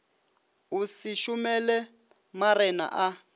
o se šomele marena a